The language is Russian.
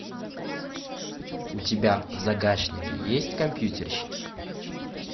у тебя в загашнике есть компьютерщики